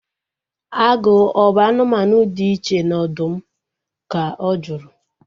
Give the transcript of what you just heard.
Agụ ọ bụ anụmanụ dị iche na ọdụm? Ka ọ juru